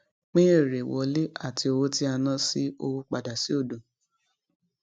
pín eré wọlé àti owó tí a ná ṣí owó padà sí òdo